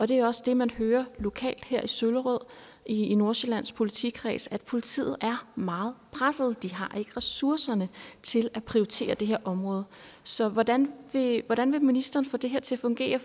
det er også det man hører lokalt her i søllerød i nordsjællands politikreds nemlig at politiet er meget presset de har ikke ressourcerne til at prioritere det her område så hvordan vil hvordan vil ministeren få det her til at fungere